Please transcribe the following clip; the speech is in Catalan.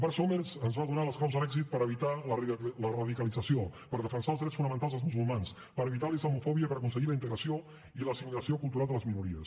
bart somers ens va donar les claus de l’èxit per evitar la radicalització per defensar els drets fonamentals dels musulmans per evitar la islamofòbia i per aconseguir la integració i l’assimilació cultural de les minories